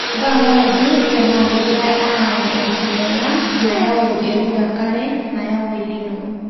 panga aidur tenaa kegirai aany enkinyela nayau eruko enkare nayau El nino